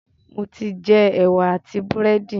Mo ti jẹ ẹwà and búrẹ́dì